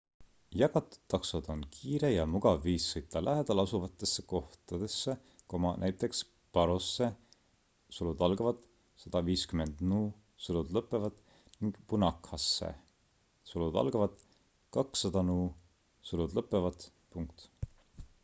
jagatud taksod on kiire ja mugav viis sõita lähedalasuvatesse kohtadesse näiteks parosse 150 nu ning punakhasse 200 nu